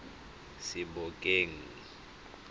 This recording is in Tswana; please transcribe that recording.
sebokeng